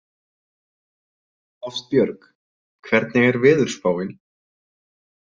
Ástbjörg, hvernig er veðurspáin?